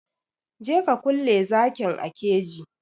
Je ka kulle zakin a keji!